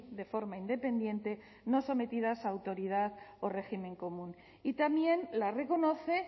de forma independiente no sometidas a autoridad o régimen común y también la reconoce